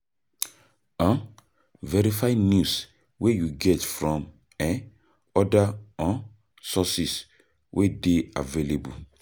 um Verify news wey you get from um oda um sources wey dey available